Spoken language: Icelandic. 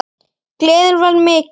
Gleðin var mikil.